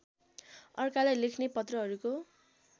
अर्कालाई लेख्ने पत्रहरूको